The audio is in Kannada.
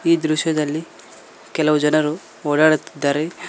ಈ ದೃಶ್ಯದಲ್ಲಿ ಕೆಲವು ಜನರು ಓಡಾಡುತ್ತಿದ್ದಾರೆ.